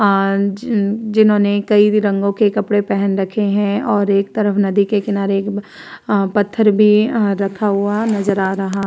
आज जिन्होंने कई रंगों के कपडे पहन रखे हैं और एक तरफ नदी के किनारे अ पत्थर भी अ रखा हुआ नजर आ रहा।